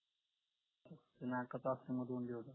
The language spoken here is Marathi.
नकाच असल्यामुळे दोन दिवस जातात